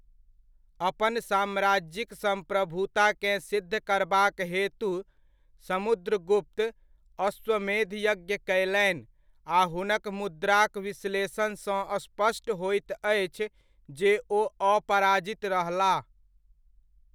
अपन साम्राज्यिक सम्प्रभुताकेँ सिद्ध करबाक हेतु समुद्रगुप्त अश्वमेध यज्ञ कयलनि आ हुनक मुद्राक विश्लेषणसँ स्पष्ट होइत अछि जे ओ अपराजित रहलाह।